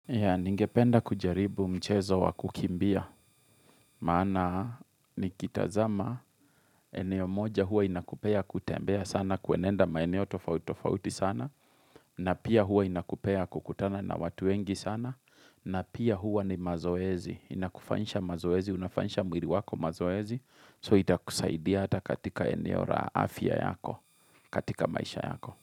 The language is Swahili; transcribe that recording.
Ya, ningependa kujaribu mchezo wa kukimbia, maana ni kitazama eneo moja hua inakupea kutembea sana, kuenenda maeneo tofautitofauti sana, na pia hua inakupea kukutana na watu wengi sana, na pia hua ni mazoezi, inakufanyisha mazoezi, unafanyisha mwiri wako mazoezi, so itakusaidia hata katika eneo ra afya yako, katika maisha yako.